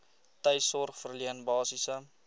tuissorg verleen basiese